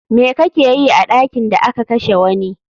Me kakeyi a ɗakin da aka kashe wani?